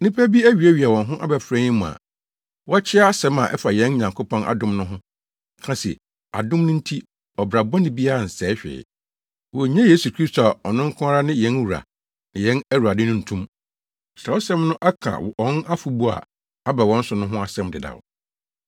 Nnipa bi awiawia wɔn ho abɛfra yɛn mu a wɔkyea asɛm a ɛfa yɛn Nyankopɔn adom no ho ka se adom no nti ɔbra bɔne nsɛe hwee. Wonnye Yesu Kristo a ɔno nko ara ne yɛn Wura ne yɛn Awurade no nto mu. Kyerɛwsɛm no aka wɔn afɔbu a aba wɔn so no ho asɛm dedaw.